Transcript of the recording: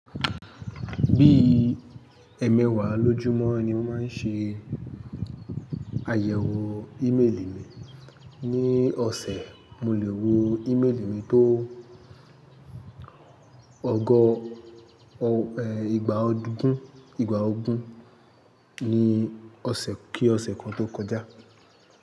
Bí ẹmẹwàá lójúmọ́ ni mo máa ń ṣe àyẹ̀wò ímélì mi, ní ọ̀sẹ̀ mo lè wo ímélì mi tó ọgọ́, ẹ, igba ogún, igba ogún ní ọ̀sẹ̀ kí ọ̀sẹ̀ kan tó kọjá.